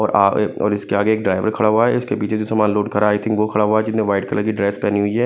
और इसके आगे एक ड्राइवर खड़ा हुआ है इसके पीछे जो सामान लोड करा है आई थिंक वो खड़ा हुआ है जिसने वाइट कलर की ड्रेस पहनी हुई है।